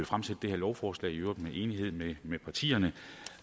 fremsætte det her lovforslag i øvrigt i enighed med med partierne